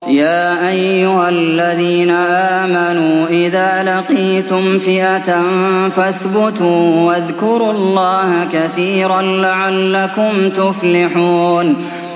يَا أَيُّهَا الَّذِينَ آمَنُوا إِذَا لَقِيتُمْ فِئَةً فَاثْبُتُوا وَاذْكُرُوا اللَّهَ كَثِيرًا لَّعَلَّكُمْ تُفْلِحُونَ